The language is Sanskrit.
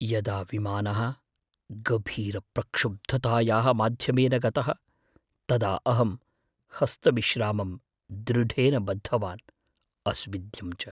यदा विमानः गभीरप्रक्षुब्धतायाः माध्यमेन गतः तदा अहं हस्तविश्रामं दृढेन बद्धवान्, अस्विद्यं च।